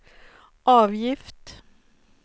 avgift